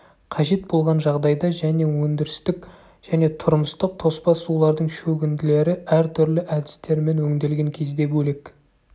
қажет болған жағдайда және өндірістік және тұрмыстық тоспа сулардың шөгінділері әртүрлі әдістермен өңделген кезде бөлек